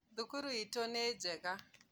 Thukuru itũ nĩ njega